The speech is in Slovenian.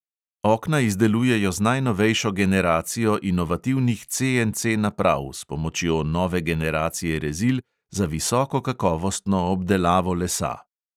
Okna izdelujejo z najnovejšo generacijo inovativnih CNC naprav s pomočjo nove generacije rezil za visoko kakovostno obdelavo lesa.